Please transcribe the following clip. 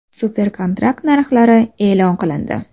Super-kontrakt narxlari e’lon qilindi.